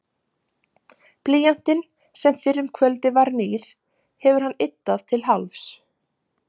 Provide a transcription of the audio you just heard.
Blýantinn, sem fyrr um kvöldið var nýr, hefur hann yddað til hálfs.